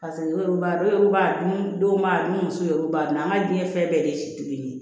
u b'a dɔw b'a dun dɔw b'a dun n'u muso ye olu b'a dun an ka diinɛ fɛn bɛɛ de ye si kelen ye